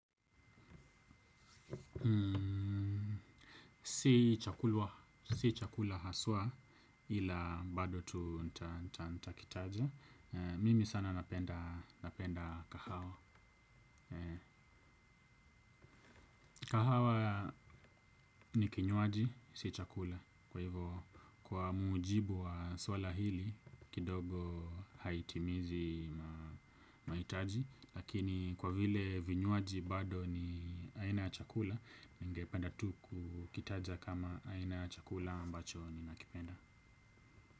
Si chakula haswa ila bado tu nitakitaja. Mimi sana napenda kahawa. Kahawa ni kinywaji, si chakula. Kwa hivo kwa muujibu wa swala hili kidogo haitimizi mahitaji. Lakini kwa vile vinywaji bado ni aina ya chakula ningependa tu kukitaja kama aina ya chakula ambacho ninakipenda.